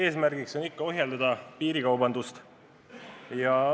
Soov on ohjeldada piirikaubandust.